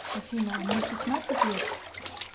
афина а мне шестнадцать лет